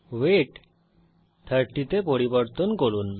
wait 30 এ পরিবর্তন করুন